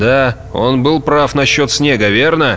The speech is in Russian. да он был прав насчёт снега верно